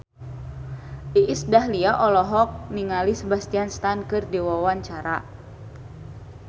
Iis Dahlia olohok ningali Sebastian Stan keur diwawancara